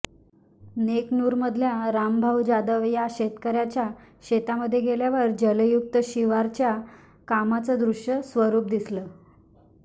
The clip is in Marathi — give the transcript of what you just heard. नेकनूर मधल्या रामभाऊ जाधव या शेतकऱ्याच्या शेतामध्ये गेल्यावर जलयुक्त शिवारच्या कामाचं दृश्य स्वरुप दिसलं